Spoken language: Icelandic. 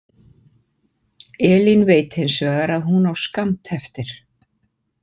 Elín veit hins vegar að hún á skammt eftir.